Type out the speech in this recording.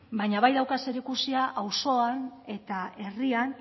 baina bai dauka zerikusia auzoan eta herrian